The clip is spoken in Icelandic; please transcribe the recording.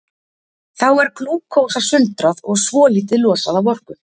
Þá er glúkósa sundrað og svolítið losað af orku.